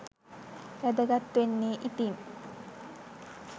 වැදගත් වෙන්නේ ඉතින්!